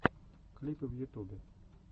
клипы в ютубе